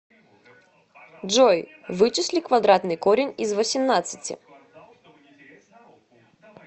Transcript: джой вычисли квадратный корень из восемнадцати